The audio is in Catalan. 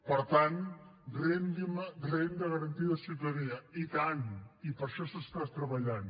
per tant renda garantida de ciutadania i tant i per això s’està treballant